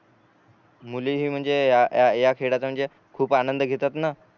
मुले हि म्हणजे या या खेळाचा म्हणजे खूप आनंद घेतात न